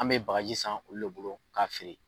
An bɛ bagaji san olu de bolo k'a feere.